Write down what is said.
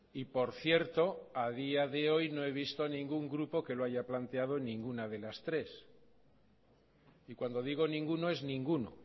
y por cierto a día de hoy no he visto a ningún grupo que lo haya planteado en ninguna de las tres y cuando digo ninguno es ninguno